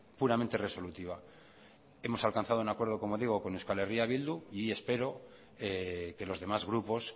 puramente resolutiva hemos alcanzado como digo un acuerdo con euskal herria bildu y espero que los demás grupos